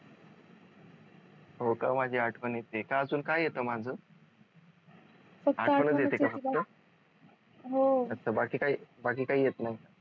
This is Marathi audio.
हो का माझी आठवण येतीय का अजून काय येतेय माझ बाकी काही बाकी काही येत नाही